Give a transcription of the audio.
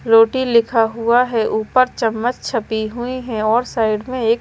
रोटी लिखा हुआ है ऊपर चम्मच छपी हुई है और साइड में एक--